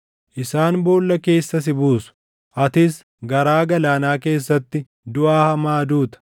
Isaan boolla keessa si buusu; atis garaa galaanaa keessatti duʼa hamaa duuta.